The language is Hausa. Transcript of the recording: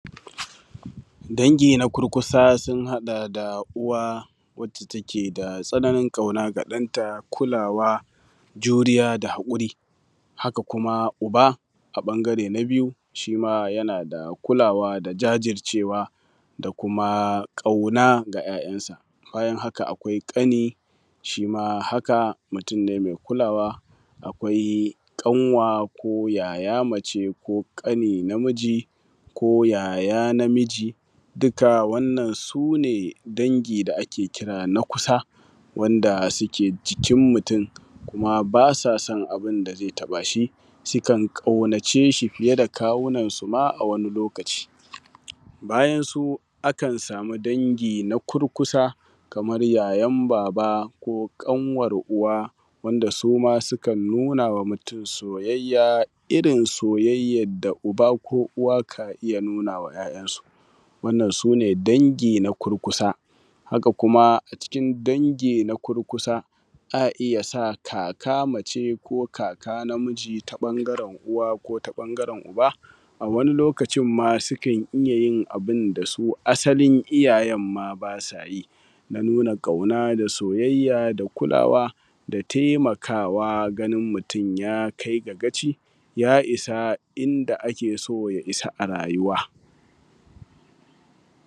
dangi na kurkusa sun haɗa da uwa wadda take da tsananin ƙauna ga ɗanta kulawa juriya da haƙuri haka kuma uba a ɓangare na biyu shi ma yana da kulawa da jajircewa da kuma ƙauna ga ‘ya’yansa bayan haka akwai ƙani shima haka mutum ne mai kulawa akwai ƙanwa ko yaya mace ko ƙani na miji ko yaya na miji duka wannan sune dangi da ake kira na kusa wanda suke cikin mutum kuma ba sa son abun da zai taɓa shi sukan ƙaunace shi fiye da kawunan su ma a wani lokaci bayan su akan samu dangi na kurkusa kamar yayan baba ko ƙanwar uwa wanda suma sukan nuna ma mutum soyayya irin soyayyar da uba ko uwa kan iya nuna ma ‘ya’yansu wannan su ne dangi na kurkusa haka kuma cikin dangi na kurkusa a iya sa kaka mace ko kaka namiji ta ɓangaren uwa ko ta ɓangaren uba wani lokacin ma sukan iya yin abun da su asalin iyayen ma ba sa yi a nuna ƙauna da soyayya da kulawa da taimakawa ganin mutum ya kai ga kaci ya isa inda ake so ya isa a rayuwa